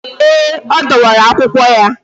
Ee, ọ dọwara akwụkwọ ya